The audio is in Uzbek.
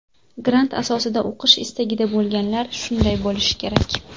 Grant asosida o‘qish istagida bo‘lganlar shunday bo‘lishi kerak.